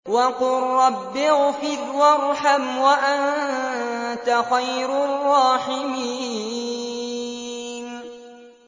وَقُل رَّبِّ اغْفِرْ وَارْحَمْ وَأَنتَ خَيْرُ الرَّاحِمِينَ